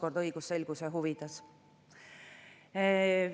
Samuti on "isa" või "teine vanem".